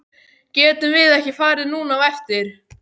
Getum við ekki farið núna á eftir?